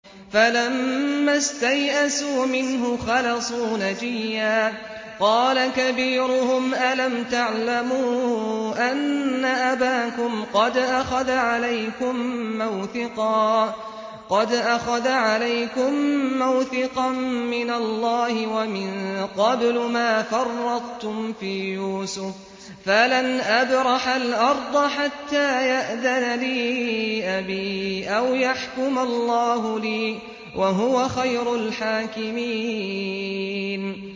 فَلَمَّا اسْتَيْأَسُوا مِنْهُ خَلَصُوا نَجِيًّا ۖ قَالَ كَبِيرُهُمْ أَلَمْ تَعْلَمُوا أَنَّ أَبَاكُمْ قَدْ أَخَذَ عَلَيْكُم مَّوْثِقًا مِّنَ اللَّهِ وَمِن قَبْلُ مَا فَرَّطتُمْ فِي يُوسُفَ ۖ فَلَنْ أَبْرَحَ الْأَرْضَ حَتَّىٰ يَأْذَنَ لِي أَبِي أَوْ يَحْكُمَ اللَّهُ لِي ۖ وَهُوَ خَيْرُ الْحَاكِمِينَ